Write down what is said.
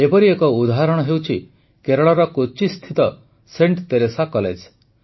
ଏପରି ଏକ ଉଦାହରଣ ହେଉଛି କେରଳର କୋଚ୍ଚିସ୍ଥିତ ସେଂଟ୍ ତେରେସା କଲେଜ